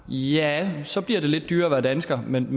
ja så bliver det lidt dyrere at være dansker men